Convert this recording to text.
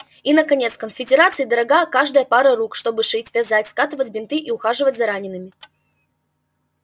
и наконец конфедерации дорога каждая пара рук чтобы шить вязать скатывать бинты и ухаживать за ранеными